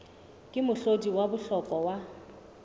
ke mohlodi wa bohlokwa wa